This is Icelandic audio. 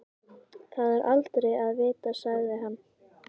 Það er aldrei að vita sagði hann.